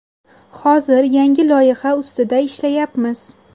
Hozir yangi loyiha ustida ishlayapmiz.